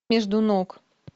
между ног